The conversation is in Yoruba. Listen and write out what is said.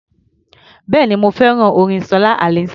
Bẹ́ẹ̀ni, mo fẹ́ràn orin Ṣọlá Allyson.